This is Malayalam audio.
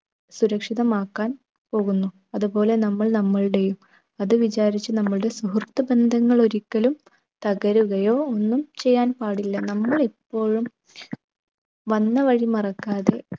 സുരക്ഷിതമാക്കാൻ പോകുന്നു. അതുപോലെ നമ്മൾ നമ്മൾടെയും അത് വിചാരിച്ച് നമ്മളുടെ സുഹൃത്ത് ബന്ധങ്ങൾ ഒരിക്കലും തകരുകയോ ഒന്നും ചെയ്യാൻ പാടില്ല. നമ്മൾ ഇപ്പോഴും വന്നവഴി മറക്കാതെ